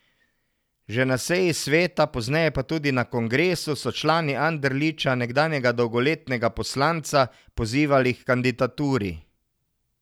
Že na seji sveta, pozneje pa tudi na kongresu, so člani Anderliča, nekdanjega dolgoletnega poslanca, pozivali h kandidaturi.